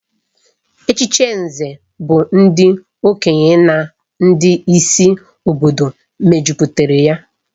Echichi Nze bụ ndị okenye na ndị isi obodo mejupụtara ya